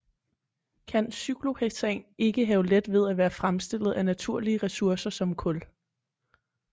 Kan cyklohexan ikke have let ved at være fremstillet af naturlige ressourcer som kul